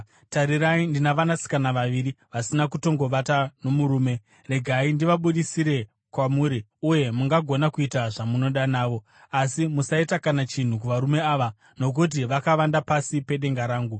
Tarirai, ndina vanasikana vaviri vasina kutongovata nomurume. Regai ndivabudisire kwamuri uye mungagona kuita zvamunoda navo. Asi musaita kana chinhu kuvarume ava, nokuti vakavanda pasi pedenga rangu.”